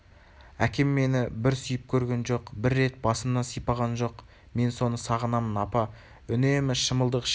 әкем мені бір сүйіп көрген жоқ бір рет басымнан сипаған жоқ мен соны сағынамын апа үнемі шымылдық ішінде